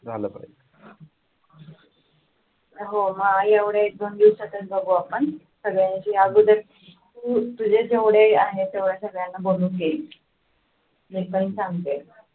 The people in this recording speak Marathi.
झालं पाहिजे हो मग एवढ्या एक दोन दिवसातच बघू आपण त्यांच्या अगोदर तुझे जेवढे आहे एवढ्या सर्वांना बोलून घे मी पण सांगते